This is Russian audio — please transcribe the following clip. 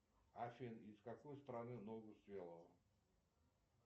афин из какой страны ногу свело